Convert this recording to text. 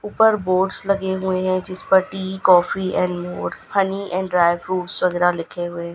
ऊपर बोर्डस लगे हुए है जिसपर tea coffee and more honey and dry fruits वैगैरह लिखे हुए।